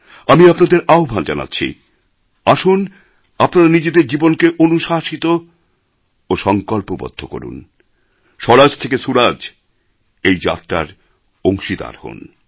আমি আপনাদের আহ্বান জানাচ্ছি আসুন আপনারা নিজেদের জীবনকে অনুশাসিত ও সংকল্পবদ্ধ করুন ও স্বরাজ থেকে সুরাজ এর এই যাত্রায় অংশীদার হন